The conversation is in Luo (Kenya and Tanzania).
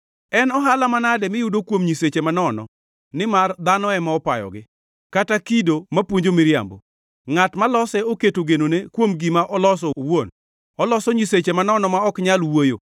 “En ohala manade miyudo kuom nyiseche manono nimar dhano ema opayogi? Kata kido mapuonjo miriambo? Ngʼat malose oketo genone, kuom gima oloso owuon; oloso nyiseche manono ma ok nyal wuoyo.